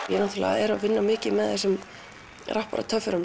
ég er að vinna mikið með þessum